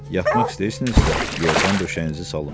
Yatmaq istəyirsinizsə, yorğan döşəyinizi salım.